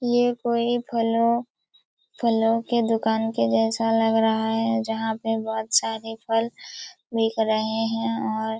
ये कोई फलो फलो के दुकान के जैसा लग रहा है जहाँ पर बहुत सारे फल बिक रहे है और--